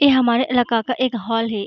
ये हमारे इलाका का एक हॉल है।